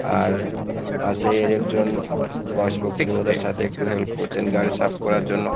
আর পাশের একজন বয়স সাথে একটু হেল্প করছেন গাড়ি সাফ করার জন্য।